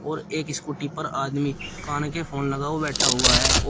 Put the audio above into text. और एक स्कूटी पर आदमी कान के फोन लगा हुआ बैठा हुआ है और--